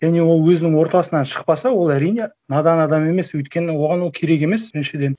және ол өзінің ортасынан шықпаса ол әрине надан адам емес өйткені оған ол керек емес біріншіден